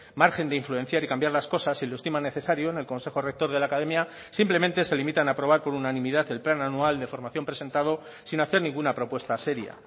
margen de influenciar y cambiar las cosas si lo estima necesario en el consejo rector de la academia simplemente se limitan a aprobar con unanimidad el plan anual de formación presentado sin hacer ninguna propuesta seria